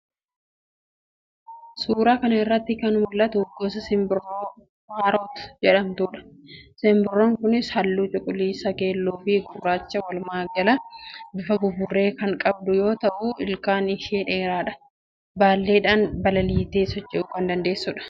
Suuraa kana irratti kan mul'attu gosa simbirroo 'parrot' jedhamtuudha. Simbirroon kunis halluu cuquliisa, keelloofi gurraacha, walumaagala bifa buburree kan qabdu yoo ta'u, ilkaan ishees dheeraadha. Baalleedhaan balaliitee socho'uu kan dandeessuudha.